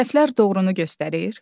Səhvlər doğrunu göstərir.